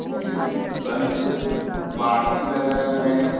ये कहीं पे पार्टी वैगरह में --